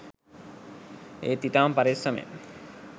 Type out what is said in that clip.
ඒත් ඉතාම පරෙස්සමෙන්